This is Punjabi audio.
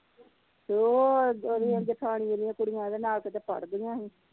ਤੇ ਉਹ ਓਦੀ ਆ ਜਠਾਣੀ ਦੀ ਕੁੜੀਆਂ ਏਦੇ ਨਾਲ ਕਿਤੇ ਪੜ੍ਹਦੀਆ ਹੀ